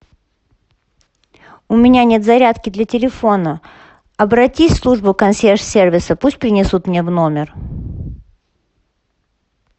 у меня нет зарядки для телефона обратись в службу консьерж сервиса пусть принесут мне в номер